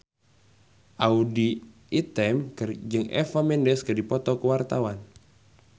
Audy Item jeung Eva Mendes keur dipoto ku wartawan